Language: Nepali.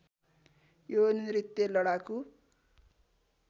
यो नृत्य लडाकु